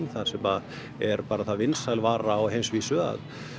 þar sem er bara svo vinsæl vara á heimsvísu að